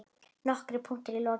Nokkrir punktar í lokin